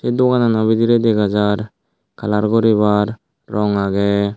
doganano bidirey dega jar kalar guribar rong agey.